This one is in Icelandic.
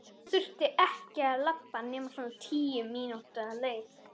Hann þurfti ekki að labba nema svona tíu mínútna leið.